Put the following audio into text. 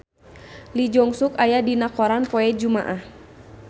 Lee Jeong Suk aya dina koran poe Jumaah